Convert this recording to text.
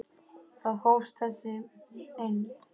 Þar hófst þessi eymd.